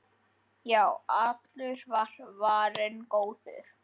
Já, allur var varinn góður!